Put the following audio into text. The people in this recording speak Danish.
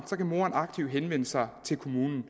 aktivt henvende sig til kommunen